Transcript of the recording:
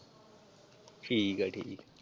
ਠੀਕ ਹੈ ਜੀ।